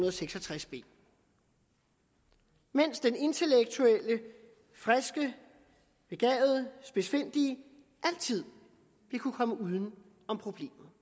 og seks og tres b mens den intellektuelle friske begavede spidsfindige altid vil kunne komme uden om problemet